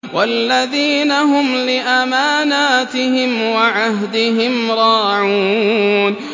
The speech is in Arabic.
وَالَّذِينَ هُمْ لِأَمَانَاتِهِمْ وَعَهْدِهِمْ رَاعُونَ